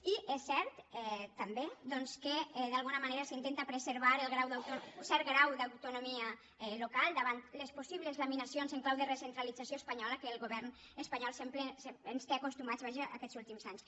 i és cert també doncs que d’alguna manera s’intenta preservar cert grau d’autonomia local davant les possibles laminacions en clau de recentralització espanyola a què el govern espanyol ens té acostumats vaja aquests últims anys